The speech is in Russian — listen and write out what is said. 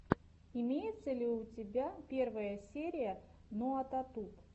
имеется ли у тебя первая серия наотатуб